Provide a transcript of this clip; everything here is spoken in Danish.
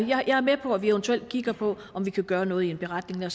jeg er med på at vi eventuelt kigger på om vi kan gøre noget i en beretning